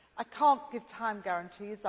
I cannot give time guarantees